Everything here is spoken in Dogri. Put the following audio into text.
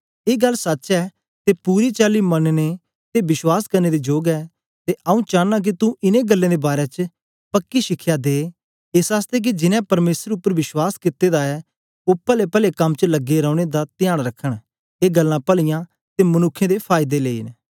ए गल्ल सच्च ऐ ते पूरी चाली मननें ते विश्वास करने दे जोग ऐ ते आऊँ चांना के तू इनें गल्लें दे बारै च पक्की शिखया दे एस आसतै के जिनैं परमेसर उपर विश्वास कित्ते दा ऐ ओ पलेपले कम च लगे रौने दा त्यान रखन ए गल्लां पलीयां ते मनुक्खें दे फायदे लेई न